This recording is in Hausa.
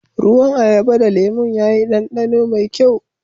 Ruwan ayaba da lemum ya yi danɗano mai kyau.